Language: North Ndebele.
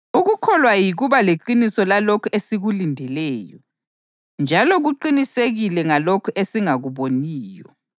Ukukholwa yikuba leqiniso lalokhu esikulindeleyo njalo kuqinisekile ngalokho esingakuboniyo.